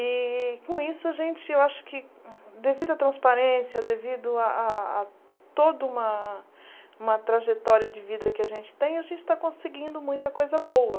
E com isso a gente, eu acho que devido à transparência, devido a a toda uma trajetória de vida que a gente tem, a gente está conseguindo muita coisa boa.